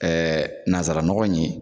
nanzaranɔgɔ in ye.